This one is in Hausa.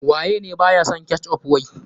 Waye ne ba ya son ketchup wai.